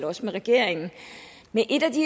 også med regeringen men et af de